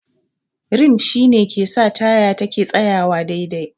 Rim shi ne ke sa taya yake tsayawa sosai.